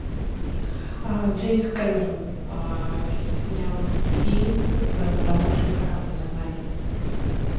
джеймс кэмерон снял фильм про затонувший корабль название